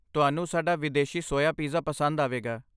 ਤੁਹਾਨੂੰ ਸਾਡਾ ਵਿਦੇਸ਼ੀ ਸੋਇਆ ਪੀਜ਼ਾ ਪਸੰਦ ਆਵੇਗਾ।